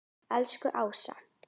Elsku Ása.